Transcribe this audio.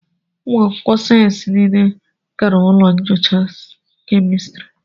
ụmụ akwụkwọ sayensị niile gara ụlọ nyocha kemịstri